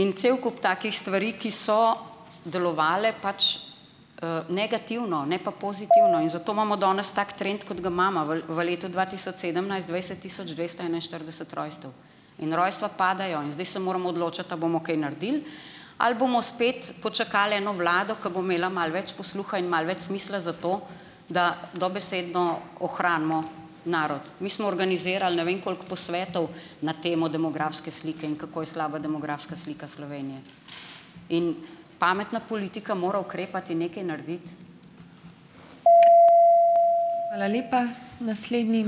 In cel kup takih stvari, ki so delovale pač, negativno, ne pa pozitivno in zato imamo danes tak trend, kot ga imamo. V v letu dva tisoč sedemnajst dvajset tisoč dvesto enainštirideset rojstev in rojstva padajo in zdaj se moramo odločiti, a bomo kaj naredili ali bomo spet počakali eno vlado, ki bo imela malo več posluha in malo več smisla za to, da dobesedno ohranimo narod. Mi smo organizirali ne vem koliko posvetov na temo demografske slike in kako je slaba demografska slika Slovenije. In pametna politika mora ukrepati in nekaj narediti.